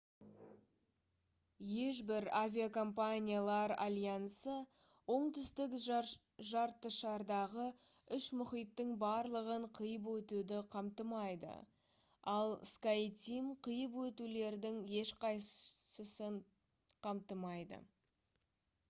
ешбір авиакомпаниялар альянсы оңтүстік жартышардағы үш мұхиттың барлығын қиып өтуді қамтымайды ал skyteam қиып өтулердің ешқайсысын қамтымайды